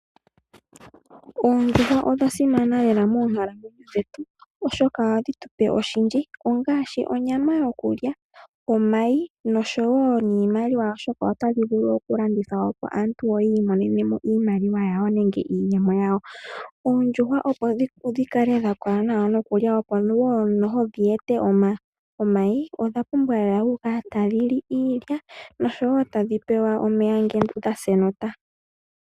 Oondjuhwa odha simana lela monkalamwenyo dhetu oshoka ohadhi tupe oshindji ongashi onyama yokulya, omayi noshowo niimaliwa oshoka otadhi vulu oku landithwapo opo aantu yi imonenemo iimaliwa yawo nenge iiyemo. Oondjuhwa opo dhi kale dhakola nawa nokulya opo wo noho dhi ete omayi odha pumbwa oku kala lela tadhi li iilya oshowo tadhi pewa omeya ngele dhase nota.